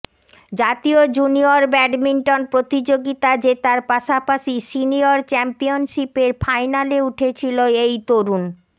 জাতীয় junior badminton প্রতিযোগিতা জেতার পাশাপাশি সিনিয়র চ্যাম্পিয়নশিপের ফাইনালে উঠেছিল এই তরুণ